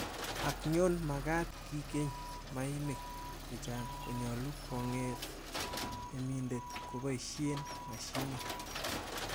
Ak yon magaat kikeny mainik chechang, konyolu konget temindet koboishen mashinit.